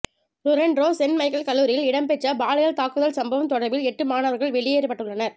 Toronto Saint Michael கல்லூரியில் இடம்பெற்ற பாலியல் தாக்குதல் சம்பவம் தொடர்பில் எட்டு மாணவர்கள் வெளியேற்றப்பட்டுள்ளனர்